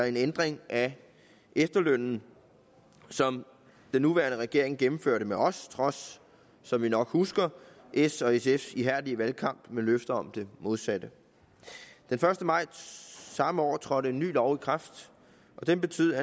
en ændring af efterlønnen som den nuværende regering gennemførte sammen med os trods som vi nok husker s og sfs ihærdige valgkamp med løfter om det modsatte den første maj samme år trådte en ny lov i kraft og den betød